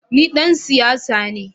Ni dan siyasa ne